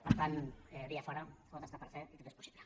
per tant via fora tot està per fer i tot és possible